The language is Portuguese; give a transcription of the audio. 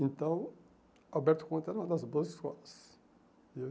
Então, Alberto Conte era uma das boas escolas.